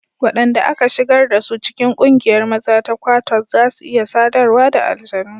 Wadanda aka shigar da su cikin kungiyar maza ta Kwattos za su iya sadarwa da aljanu.